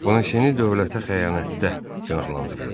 Bonasiyeni dövlətə xəyanətdə günahlandırırdılar.